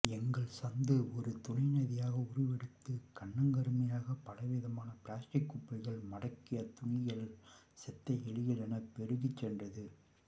எங்கள் சந்து ஒரு துணைநதியாக உருவெடுத்து கன்னங்கருமையாக பலவிதமான பிளாஸ்டிக் குப்பைகள் மட்கிய துணிகள் செத்த எலிகள் என பெருகிச்சென்றது